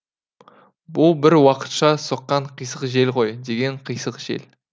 бұл бір уақытша соққан қисық жел ғой деген қисық жел